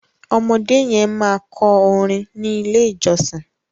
ọmọdé yen ma kọ orin ní ilè ìjósìn.